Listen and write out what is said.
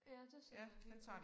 Ja det ser da helt